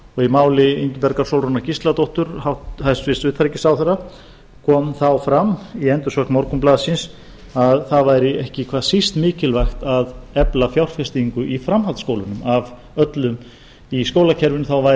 í máli ingibjargar sólrúnar gísladóttur hæstvirts utanríkisráðherra kom þá fram í endursögn morgunblaðsins að það væri ekki hvað síst mikilvægt að efla fjárfestingu í framhaldsskólunum í skólakerfinu væri